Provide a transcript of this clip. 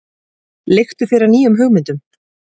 Leiktu þér að nýjum hugmyndum.